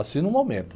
Assim no momento.